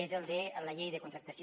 és el de la llei de contractació